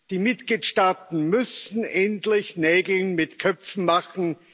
Die Mitgliedstaaten müssen endlich Nägel mit Köpfen machen.